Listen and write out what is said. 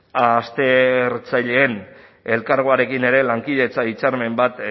aztertzaileen elkargoarekin ere lankidetza hitzarmen bat